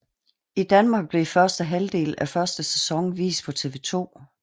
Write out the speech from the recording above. I Danmark blev første halvdel af første sæson vist på TV2